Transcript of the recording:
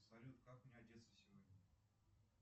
салют как мне одеться сегодня